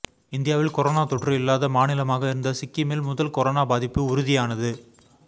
இந்தியாவில் கொரோனா தொற்று இல்லாத மாநிலமாக இருந்த சிக்கிமில் முதல் கொரோனா பாதிப்பு உறுதியானது